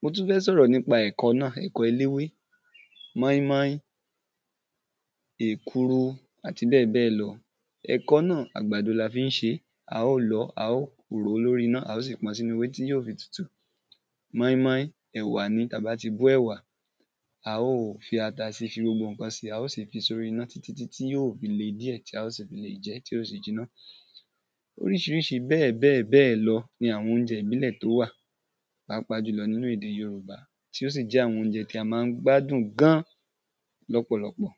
mo tún fẹ́ sọ̀rọ̀ nípa ẹ̀kọ náà, ẹ̀kọ eléwé, mọ́ín-mọ́ín, èkuru àti bẹ́ẹ̀ bẹ́ẹ̀ lọ, ẹ̀kọ náà àgbàdo la fi ń ṣe é, a ó lọ ọ́, a ò rò ó lóri iná, a ó sì pọn sínu ewé tí yó fi tutu mọ́í-mọ́í ẹ̀wà ni, ta bá ti bó ẹ̀wà, a ó fi ata si, fi gbogbo ǹkan si, a ó si fi sóri iná títí tí yó fi le díẹ̀ tí a ó si fi lè jẹ ẹ́, tí ó fi jìnà oríṣiríṣi bẹ́ẹ̀ bẹ́ẹ̀ bẹ́ẹ̀ lọ ni àwọn oúnjẹ ìbílẹ̀ tó wà pàápàá jùlọ nínu ède yorùbá, tí ó sì jẹ́ àwọn oúnjẹ tí á ma ń gbádùn gan lọ́pọ̀lọpọ̀.